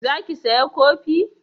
Za ki saya kofi?